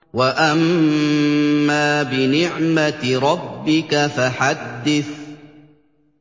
وَأَمَّا بِنِعْمَةِ رَبِّكَ فَحَدِّثْ